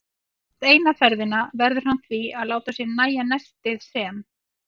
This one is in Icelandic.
Rétt eina ferðina verður hann því að láta sér nægja nestið sem